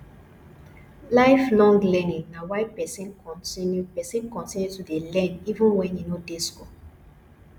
life long learning na when person continue person continue to dey learn even when e no dey go school